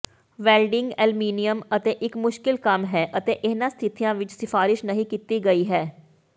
welding aluminium ਇੱਕ ਮੁਸ਼ਕਲ ਕੰਮ ਹੈ ਅਤੇ ਇਹਨਾਂ ਸਥਿਤੀਆਂ ਵਿੱਚ ਸਿਫਾਰਸ਼ ਨਹੀਂ ਕੀਤੀ ਗਈ ਹੈ